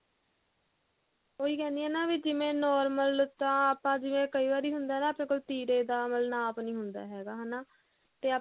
ਉਹੀ ਕਿਹੰਦੀ ਆ ਜਿਵੇਂ normal ਤਾਂ ਆਪਾਂ ਜਿਵੇਂ ਕਈ ਵਾਰੀ ਹੁੰਦਾ ਹੁੰਦਾ ਨਾ ਵੀ ਤਿਰੇ ਦਾ ਮਤਲਬ ਨਾਪ ਨਹੀਂ ਹੁੰਦਾ ਹੈਗਾ ਹਨਾ ਤੇ